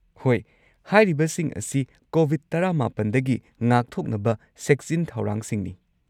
ꯍꯣꯏ, ꯍꯥꯏꯔꯤꯕꯁꯤꯡ ꯑꯁꯤ ꯀꯣꯕꯤꯗ-꯱꯹ ꯗꯒꯤ ꯉꯥꯛꯊꯣꯛꯅꯕ ꯆꯦꯛꯁꯤꯟ ꯊꯧꯔꯥꯡꯁꯤꯡꯅꯤ꯫